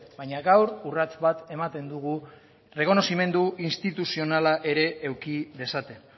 baina gaur urrats bat ematen dugu errekonozimendu instituzionala ere eduki dezaten